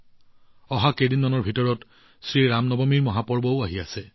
শ্ৰী ৰাম নৱমীৰ পৱিত্ৰ উৎসৱটোও অহা কেইদিনমানৰ ভিতৰত উদযাপন কৰা হব